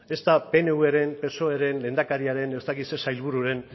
ez da pnvren psoeren lehendakariaren ez dakit zein sailbururen